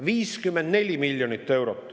– 54 miljonit eurot.